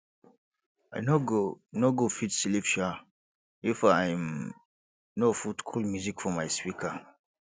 i no go no go fit sleep um if i um no put cool music for my speaker